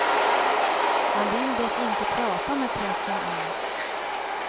Han vill dock inte prata med pressen än.